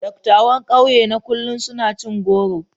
Dattawan kauye na kullum suna cin goro.